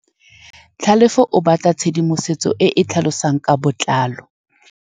Tlhalefô o batla tshedimosetsô e e tlhalosang ka botlalô.